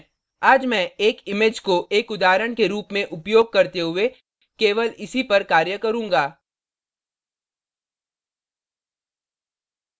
आज मैं एक image को एक उदाहरण के रूप में उपयोग करते हुए केवल इसी पर कार्य करूँगा